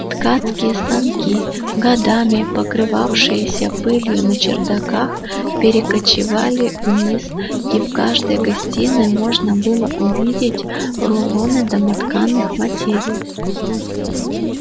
ткацкие станки годами покрывавшиеся пылью на чердаках перекочевали вниз и в каждой гостиной можно было увидеть рулоны домотканых материй